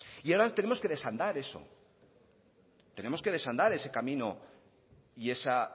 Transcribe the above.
y ahora tenemos que desandar eso tenemos que desandar ese camino y esa